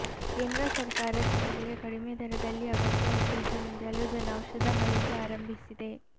ಕೇಂದ್ರ ಸರ್ಕಾರ ಜನರಿಗೆ ಕಡಿಮೆ ದರದಲ್ಲಿ ಅಗತ್ಯ ಔಷಧ ನೀಡಲು ಜನೌಷಧ ಮಳಿಗೆ ಆರಂಭಿಸಿದೆ